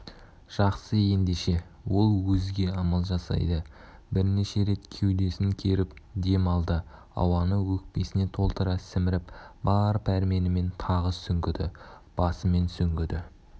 жақсы ендеше ол өзге амал жасайды бірнеше рет кеудесін керіп дем алды ауаны өкпесіне толтыра сіміріп бар пәрменімен тағы сүңгіді басымен сүңгіді